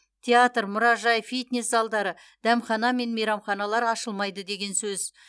театр мұражай фитнес залдары дәмхана мен мейрамханалар ашылмайды деген сөз